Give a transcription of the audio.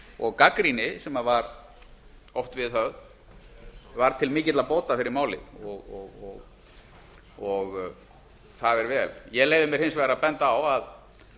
og gagnrýni sem var oft viðhöfð var til mikilla bóta fyrir málið og það er vel ég leyfi mér hins vegar að benda á að